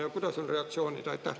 Ja kuidas on reaktsioonid?